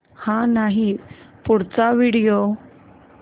हा नाही पुढचा व्हिडिओ